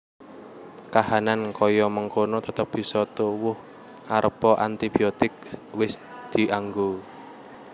Kahanan kaya mengkono tetep bisa tuwuh arepa antibiotik wis dianggo